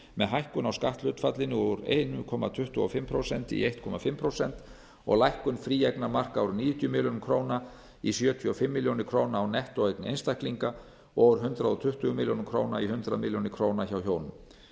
með hækkun á skatthlutfallinu úr einum komma tuttugu og fimm prósent í eins og hálft prósent og lækkun fríeignarmarka úr níutíu milljónir króna í sjötíu og fimm milljónir króna á nettóeign einstaklinga og úr hundrað tuttugu milljónir króna í hundrað milljónir króna hjá hjónum